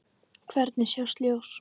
Hvergi sást ljós.